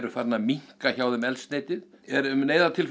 farið að minnka hjá þeim eldsneytið